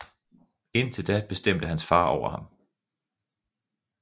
Indtil da bestemte hans far over ham